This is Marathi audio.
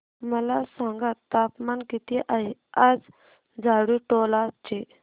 मला सांगा तापमान किती आहे आज झाडुटोला चे